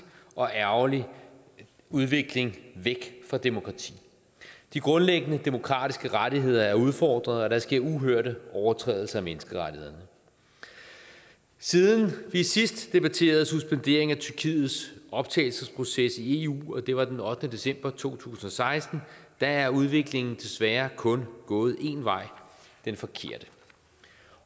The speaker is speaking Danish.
og ærgerlig udvikling væk fra demokrati de grundlæggende demokratiske rettigheder er udfordret og der sker uhørte overtrædelser af menneskerettighederne siden vi sidst debatterede suspenderingen af tyrkiets optagelsesproces i eu og det var den ottende december to tusind og seksten er udviklingen desværre kun gået en vej den forkerte